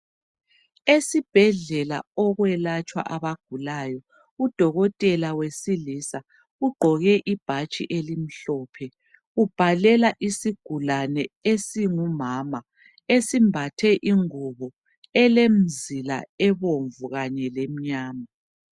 Esibhedlela okwelatshwa abagulayo udokotela wesilisa ugqoke ibhatshi elimhlophe ubhalela isigulane esingumama esimbathe ingubo elomzila ebomvu Kanye lemnyana.